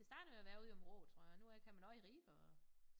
Det startede med at være ude i Aabenraa tror jeg nu øh kan man også i Ribe og